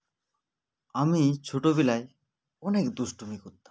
আমি ছোটোবিলায় অনেক দুষ্টুমি করতাম